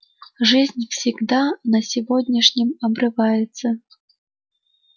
жизнь всегда на сегодняшнем обрывается